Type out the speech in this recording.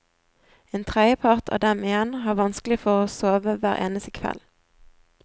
En tredjepart av dem igjen har vanskelig for å få sove hver eneste kveld.